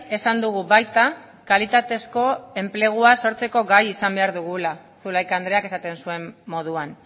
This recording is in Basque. esan dugu baita kalitatezko enplegua sortzeko gai izan behar dugula zulaika andreak esaten zuen moduan